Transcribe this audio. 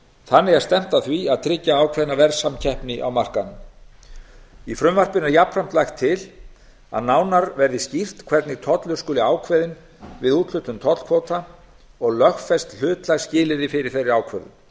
þannig er stefnt að því að tryggja ákveðna verðsamkeppni á markaðnum í frumvarpinu er jafnframt lagt til að nánar verði skýrt hvernig tollur skuli ákveðinn við úthlutun tollkvóta og lögfest hlutlægt skilyrði fyrir þeirri ákvörðun